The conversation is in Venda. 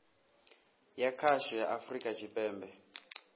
ya khasho ya afurika tshipembe